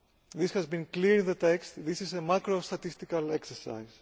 This has been clear in the text. This is a macro statistical exercise.